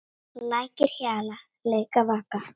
Lækir hjala, leika, vaka.